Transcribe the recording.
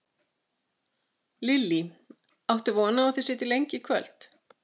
Lillý: Áttu von á að þið sitjið lengi í kvöld?